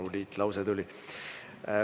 Maru liitlause tuli.